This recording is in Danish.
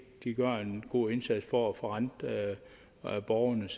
gør en god indsats for at forrente borgernes